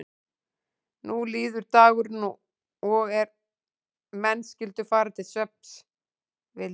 Nú líður dagurinn og er menn skyldu fara til svefns vildi